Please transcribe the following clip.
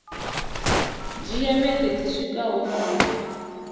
dzhia vhege dzi swikaho nṋa